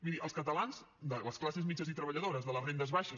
miri els catalans de les classes mitjanes i treballadores de les rendes baixes